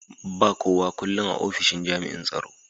ba kowak ullun a opishin jami'in tsaro.